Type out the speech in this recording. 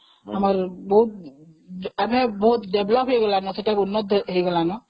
ଆମର ବହୁତ develop ହେଇଗଲାଣି ନା, ଉନ୍ନତ ହେଇଗଲାଣି ନା ସେଠା